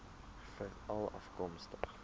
veralafkomstig